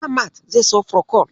Ahmad zai siyo furokol.